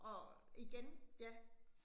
Og igen ja